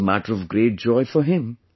It was a matter of great joy for him